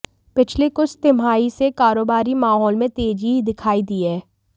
पिछली कुछ तिमाही से कारोबारी माहौल में तेजी दिखाई दी है